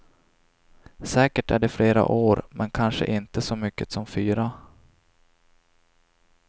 Säkert är det flera år, men kanske inte så mycket som fyra.